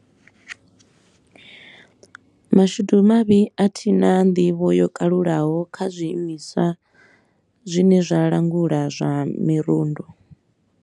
Mashudu mavhi a thi na nḓivho yo kalulaho kha zwiimiswa zwine zwa langula zwa mirundu.